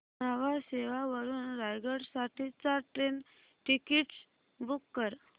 न्हावा शेवा वरून रायगड साठी चार ट्रेन टिकीट्स बुक कर